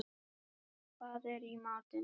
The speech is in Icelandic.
Ísold, hvað er í matinn?